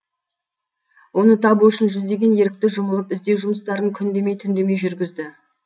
оны табу үшін жүздеген ерікті жұмылып іздеу жұмыстарын күн демей түн демей жүргізді